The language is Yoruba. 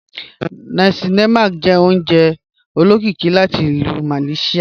Nàsí lé̩màk jẹ́ ò̩ùnjẹ̀ ò̩ló̩kíkí láti Ilú Malaysia.